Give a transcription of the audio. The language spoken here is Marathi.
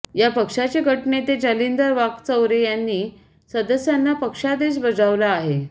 या पक्षाचे गटनेते जालिंदर वाकचौरे यांनी सदस्यांना पक्षादेश बजावला आहे